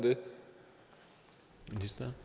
det